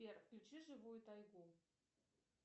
сбер включи живую тайгу